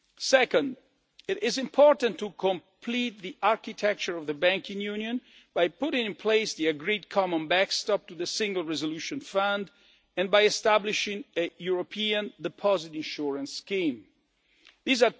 Second, it is important to complete the architecture of the banking union by putting in place the agreed common backstop to the Single Resolution Fund and by establishing a European deposit insurance scheme